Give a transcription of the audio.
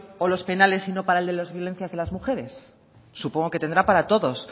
o los penales y no para el de las violencias de las mujeres supongo que tendrá para todos